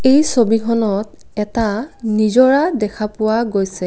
এই ছবিখনত এটা নিজৰা দেখা পোৱা গৈছে।